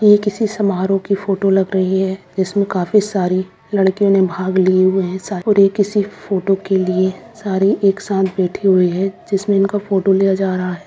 यह किसी समारोह की फोटो लग रही है जिसमें काफी सारे लड़कियों ने भाग लिए हुए हैं सा और ये किसी फोटो के लिए सारी एक साथ बैठी हुई हैं जिसमें इनका फोटो लिया जा रहा है।